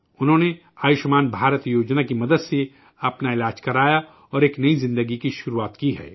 انہوں نے آیوشمان بھارت اسکیم کی مدد سے اپنا علاج کرایا اور ایک نئی زندگی شروع کی ہے